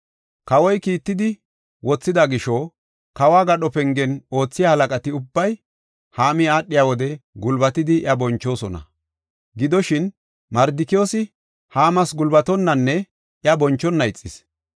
Kawoy kiittidi wothida gisho, kawo gadho pengen oothiya halaqati ubbay Haami aadhiya wode gulbatidi iya bonchoosona. Gidoshin, Mardikiyoosi Haamas gulbatonanne iya bonchona ixis.